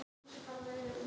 Mána Lóa.